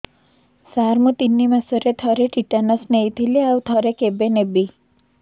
ସାର ମୁଁ ତିନି ମାସରେ ଥରେ ଟିଟାନସ ନେଇଥିଲି ଆଉ ଥରେ କେବେ ନେବି